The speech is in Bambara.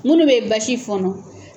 Munnu bɛ basi fɔɔnɔ.